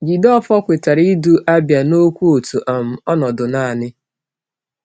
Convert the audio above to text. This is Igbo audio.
Jideofor kwetara ịdu Abia n’okwu otu um ọnọdụ naanị.